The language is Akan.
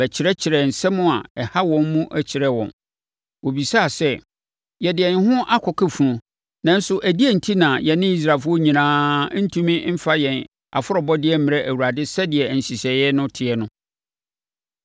bɛkyerɛkyerɛɛ nsɛm a ɛha wɔn mu kyerɛɛ wɔn. Wobisaa sɛ, “Yɛde yɛn ho aka funu, nanso ɛdeɛn enti na yɛne Israelfoɔ nyinaa rentumi mfa yɛn afɔrebɔdeɛ mmrɛ Awurade sɛdeɛ nhyehyɛeɛ no teɛ no?”